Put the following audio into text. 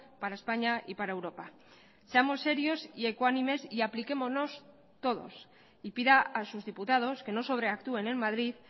para españa y para europa seamos serios y ecuánimes y apliquémonos todos y pida a sus diputados que no sobreactúen en madrid